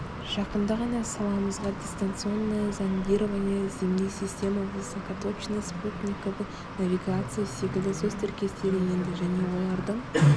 жақында ғана саламызға дистанционное зондирование земли система высокоточной спутниковой навигации секілді сөз тіркестері енді және олардың